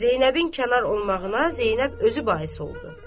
Zeynəbin kənar olmağına Zeynəb özü bais oldu.